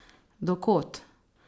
Do kod?